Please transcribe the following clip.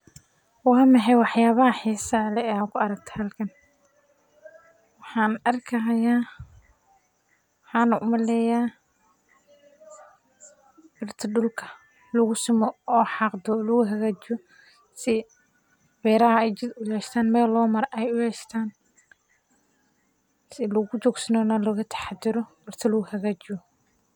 Waaa maxay waxyabaha xisaha leh aa meshan ku arki hayso waxana u maleya birta dulka lagu xaqo oo dulka lagu simo sas ayan u maleya shaqadha waa shaqa muhiim ah dulka aye simeysa.